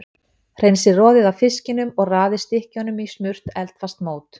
Hreinsið roðið af fiskinum og raðið stykkjunum í smurt eldfast mót.